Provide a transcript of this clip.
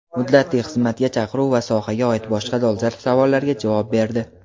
muddatli xizmatga chaqiruv va sohaga oid boshqa dolzarb savollarga javob berdi.